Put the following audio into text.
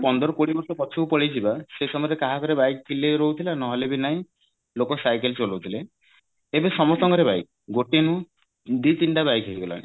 ପନ୍ଦର କୋଡିଏ ବର୍ଷ ପଛକୁ ପଳେଇଯିବା ସେଇ ସମୟରେ ସେତେବେଳେ କାହା ଘରେ bike ଥିଲେ ରହୁଥିଲା ନହେଲେ ବି ନାହିଁ ଲୋକ cycle ଚଳଉଥିଲେ ଏବେ ସମସ୍ତଙ୍କ ଘରେ bike ଗୋଟେ ନୁହଁ ଦି ତିନିଟା bike ହେଇଗଲାଣି